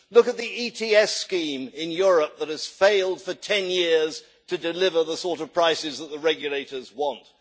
Look at the ETS scheme in Europe that has failed for 10 years to deliver the sort of prices that the regulators want.